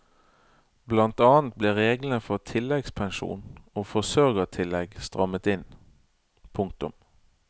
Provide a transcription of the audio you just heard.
Blant annet ble reglene for tilleggspensjon og forsørgertillegg strammet inn. punktum